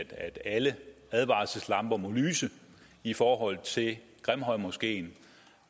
at alle advarselslamper må lyse i forhold til grimhøjmoskeen